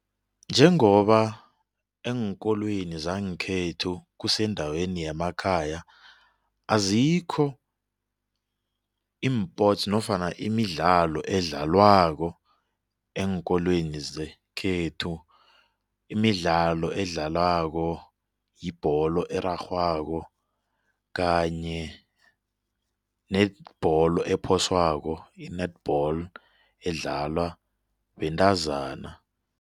Njengoba eenkolweni zangekhethu kusendaweni yamakhaya azikho iimpots nofana imidlalo edlalwako eenkolweni zekhethu imidlalo edlalwako yibholo erarhwako kanye nebholo ephoswako i-netball edlalwa bentazana.